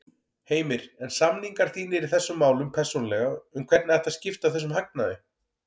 Heimir: En samningar þínir í þessum málum persónulega um hvernig ætti að skipta þessum hagnaði?